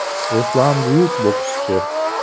Ruslan buyuk bokschi!